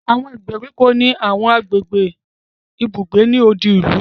Àwọn ìgbèríko ni àwọn agbègbè ibùgbé ni odi ìlú